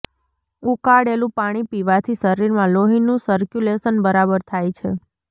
ઉકાળેલું પાણી પીવાથી શરીરમાં લોહીનું સર્ક્યુલેશન બરાબર થાય છે